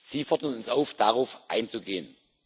Sie fordern uns auf, darauf einzugehen.